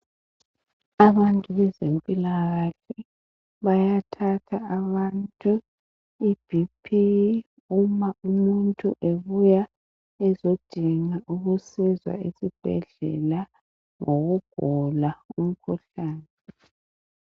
Abantu bezempilakahle bayathatha abantu ibp uma umuntu ebuya ezodinga ukusizwa esibhedlela ngokugula umkhuhlane.